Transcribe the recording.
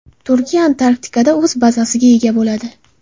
Turkiya Antarktikada o‘z bazasiga ega bo‘ladi.